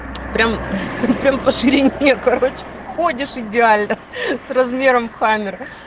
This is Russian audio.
прямо прямо по ширине короче входишь идеально с размером в хамер